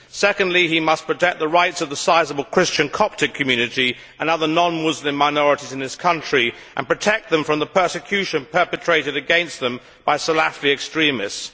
Secondly, he must protect the rights of the sizeable Christian Coptic community, another non Muslim minority in this country, and protect them from the persecution perpetrated against them by Salafi extremists.